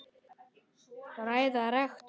Ræða rektors